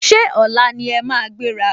Ṣé ọ̀la ni ẹ máa gbéra?